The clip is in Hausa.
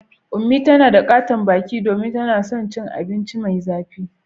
Unmie tana da katon baki domin tana son cin abinci mai zafi.